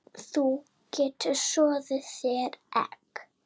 Þú getur soðið þér egg